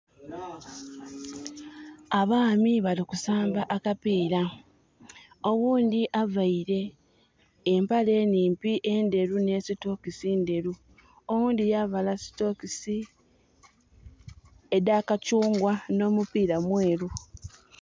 Abaami bali kusamba akapiira. Owundi avaire empale enimpi enderu ne sitokisi nderu, owundi yavala sitokisi eda kakyungwa. N'omupiira mweru